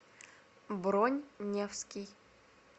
бронь невский